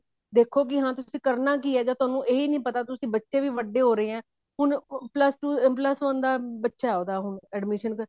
ਦੇਖੋ ਕੀ ਹਾਂ ਤੁਸੀਂ ਕਰਨਾ ਕੀ ਹੈ ਜਦ ਤੁਹਾਨੂੰ ਇਹੀ ਨੀ ਪਤਾ ਤੁਸੀਂ ਬੱਚੇ ਵੀ ਵੱਡੇ ਹੋ ਰਹੇ ਨੇ ਹੁਣ plus two plus one ਦਾ ਬੱਚਾ ਉਹਦਾ ਹੁਣ admission